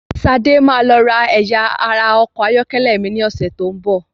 Ṣadé máa lọ ra ẹ̀yà ara ọkọ̀ ayọ́kẹ́lẹ́ mi ní ọ̀sẹ́ tó ń bọ̀.